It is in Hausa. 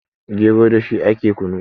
gero da shi ake kunu